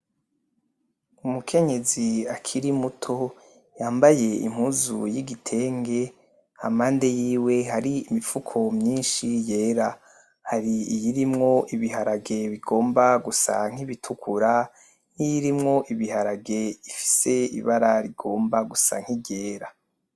Umukenyezi akiri muto yambaye impuzu y'igitenge hampande yiwe hari imifuko myinshi yera, hari iyirimwo ibiharage bigomba gusa nk'ibitukura niyirimwo ibiharage ifise ibara rigomba gusa nk'iryera.